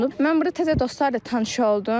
Mən burda təzə dostlar da tanış oldum.